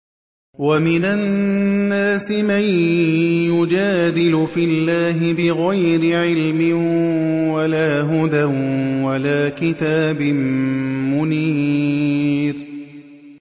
وَمِنَ النَّاسِ مَن يُجَادِلُ فِي اللَّهِ بِغَيْرِ عِلْمٍ وَلَا هُدًى وَلَا كِتَابٍ مُّنِيرٍ